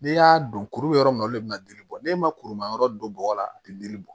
N'i y'a don kuru bɛ yɔrɔ min na olu le bɛna dili bɔ ne ma kuru ma yɔrɔ don bɔgɔ la a tɛ dili bɔ